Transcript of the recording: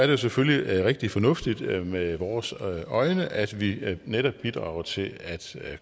jo selvfølgelig rigtig fornuftigt set med vores øjne at vi netop bidrager til at